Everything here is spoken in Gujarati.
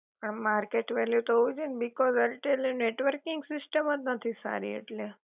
હા માર્કેટ વેલ્યુ તો હોવી જોઈ એ ને બિકૌજ એરટેલ ની નેટવર્કિંગ સિસ્ટમ જ નથી સારી ઍટલે